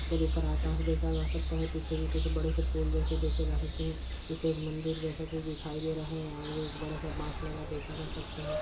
ऊपर आकाश देखा जा सकता है। पीछे भी कुछ बड़े से पुल जैसा देखे जा सकते हैं पीछे एक मंदिर जैसा कुछ दिखाई दे रहा है आगे एक बड़ा सा बांस लगा देखा जा सकता है।